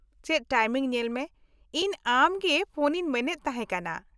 ᱪᱮᱫ ᱴᱟᱭᱤᱢᱤᱝ ᱧᱮᱞ ᱢᱮ , ᱤᱧ ᱟᱢ ᱜᱮ ᱯᱷᱚᱱ ᱤᱧ ᱢᱮᱱᱮᱫ ᱛᱟᱦᱮᱸ ᱠᱟᱱᱟ ᱾